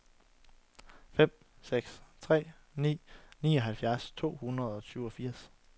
fem seks tre ni nioghalvfjerds to hundrede og syvogfirs